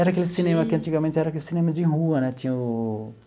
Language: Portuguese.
Era aquele cinema que antigamente era aquele cinema de rua né tinha o...